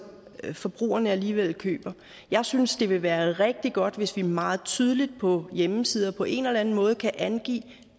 forbrugerne alligevel køber jeg synes det vil være rigtig godt hvis vi meget tydeligt på hjemmesider på en eller anden måde kan angive